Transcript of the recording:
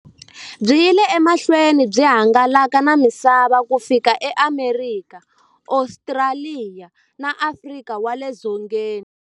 Byi yile emahlweni byi hangalaka na misava ku fika e Amerika, Ostraliya na Afrika wale dzongeni.